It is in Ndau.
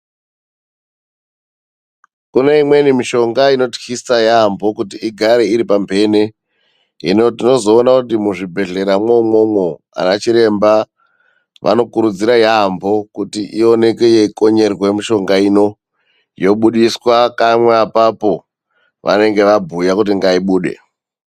Kune imweni mishonga inotyisa, yamho kuti igare iri pamhene. Hino tinozoona kuti muzvibhedhleya mwoumwomwo ana Chiremba vanokurudzira yaamho kuti ioneke yeikonyerwa yobudiswa kamwe apapo pavanenge vabhuya kuti ngaibude.